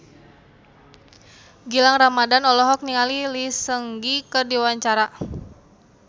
Gilang Ramadan olohok ningali Lee Seung Gi keur diwawancara